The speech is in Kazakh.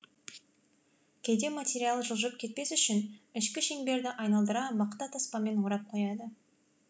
кейде материал жылжып кетпес үшін ішкі шеңберді айналдыра мақта таспамен орап қояды